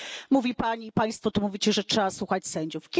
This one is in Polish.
Mówi Pani, Państwo to mówicie, że trzeba słuchać sędziów.